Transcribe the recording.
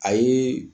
A ye